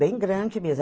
Bem grande mesmo.